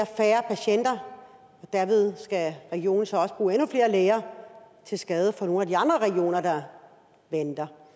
færre patienter og derved skal regionen så også bruge endnu flere læger til skade for nogle af de andre regioner der venter